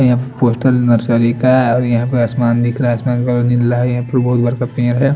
यहाँ पर poster nursery का है और यहाँ पर आसमान दिखरा है आसमान का कलर नीला है यहाँ पर बहुत बड़का पेड़ है।